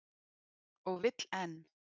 Og vill enn.